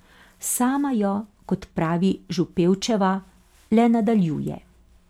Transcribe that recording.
Sama jo, kot pravi Župevčeva, le nadaljuje.